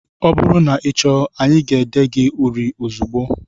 Ọ bụrụ na ị chọọ, aga ede gị uri ozugbo